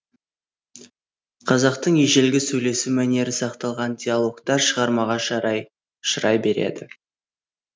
қазақтың ежелгі сөйлесу мәнері сақталған диалогтар шығармаға шырай береді